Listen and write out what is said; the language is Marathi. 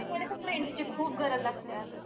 एकमेकांना friends ची खूप गरज लागते अगं.